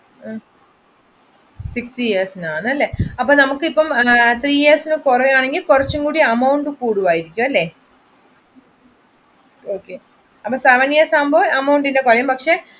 fifty years നാണല്ലേ അപ്പൊ നമ്മുക്ക് ഇപ്പോ three years കുറയുകയാണെകിൽ കുറച്ച് കൂടെ amount കൂടുമായിരിക്കുമല്ലേ അപ്പൊ seven years ആകുമ്പോൾ amount പക്ഷെ